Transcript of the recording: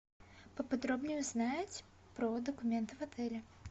поподробнее узнать про документы в отеле